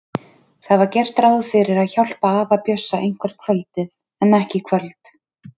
Það var gert ráð fyrir að hjálpa afa Bjössa eitthvert kvöldið en ekki í kvöld.